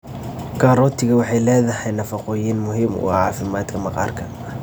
Karootiga waxay leedahay nafaqooyin muhiim ah oo caafimaadka maqaarka.